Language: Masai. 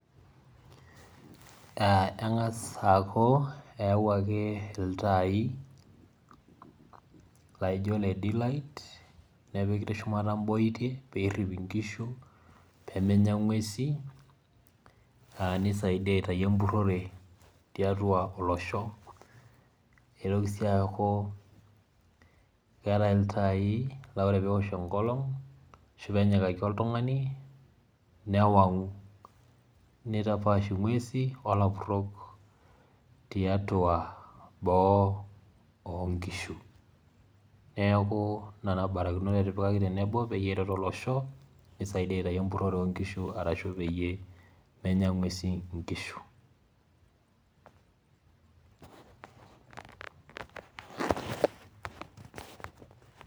Aaa eng'as aaku eawuaki iltaai, laaijo ile D light nepiki teshumata imbooitie, pee errip inkishu peemenya ing'uesi aa nisaidiea aitayu empurrore tiatua olosho, neitoki sii aku keetai iltaai laa ore peeosh enkolong' ashu pee enyikaki oltung'ani newang'u, nitapaash ing'uesi olapurrok tiatua boo oonkishu, neeku nena barakinot etipikaki tenebo peyie eret olosho, nisaidia aitayu empurrore oonkishu arashu peyie menya ing'uesi inkishu.